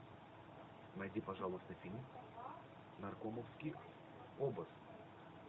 найди пожалуйста фильм наркомовский обоз